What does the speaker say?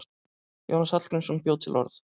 Jónas Hallgrímsson bjó til orð.